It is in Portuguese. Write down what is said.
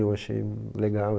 Eu achei legal.